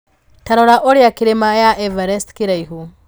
Ta rora ũrĩa Kĩrĩma ya Everest kĩraihu